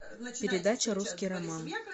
передача русский роман